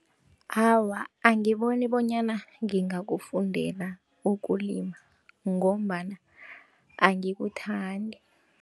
Awa, angiboni bonyana ngingakufundela ukulima ngombana angikuthandi.